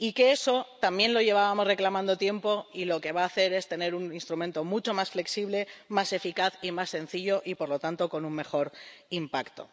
Eso también lo llevábamos reclamando tiempo y lo que va a hacer es tener un instrumento mucho más flexible, más eficaz y más sencillo, y, por lo tanto, con un mejor impacto.